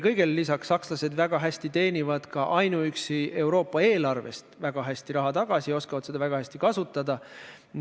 Kõigele lisaks, sakslased teenivad väga palju ainuüksi Euroopa eelarvest raha tagasi ja oskavad seda ka väga hästi kasutada.